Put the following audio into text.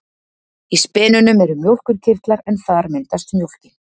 Í spenunum eru mjólkurkirtlar en þar myndast mjólkin.